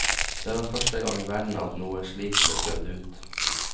Det var første gang i verden at noe slikt ble prøvd ut.